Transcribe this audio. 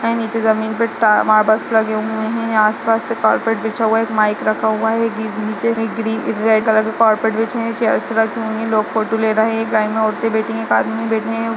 नीचे जमीन पर ता मार्बलस लगे हुए है आस पास एक कार्पेट बिछा हुआ है एक माइक रखा हुआ है नीचे एक ग्रीन एक रेड कलर के कारपेट बिछें है नीचे लोग फोटो ले रहें हैं एक लाइन मैं औरतें बैठी एक आदमी बैठें हैं और--